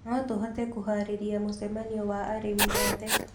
No tũhote kũharĩrĩria mũcemanio wa arĩmi othe.